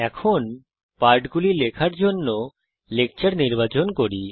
এখন পাঠগুলি লেখার জন্য লেকচার নির্বাচন করি